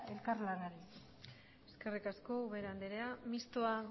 elkar lanari eskerrik asko ubera andrea mistoa